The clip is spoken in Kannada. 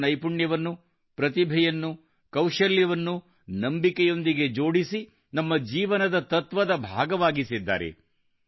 ಅವರು ನೈಪುಣ್ಯವನ್ನು ಪ್ರತಿಭೆಯನ್ನು ಕೌಶಲ್ಯವನ್ನುನಂಬಿಕೆಯೊಂದಿಗೆ ಜೋಡಿಸಿ ನಮ್ಮ ಜೀವನದ ತತ್ವದಭಾಗವಾಗಿಸಿದ್ದಾರೆ